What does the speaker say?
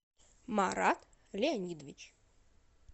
марат леонидович